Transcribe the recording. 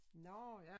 Nårh ja